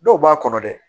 Dɔw b'a kɔnɔ dɛ